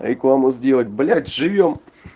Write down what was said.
рекламу сделать блять живём